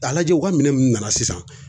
A lajɛ u ka minɛ mun nana sisan